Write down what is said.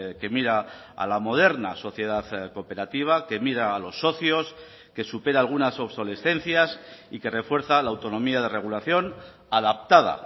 que mira a la moderna sociedad cooperativa que mira a los socios que supera algunas obsolescencias y que refuerza la autonomía de regulación adaptada